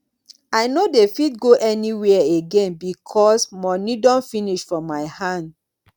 i no dey fit go anywhere again because moni don finish for my hand.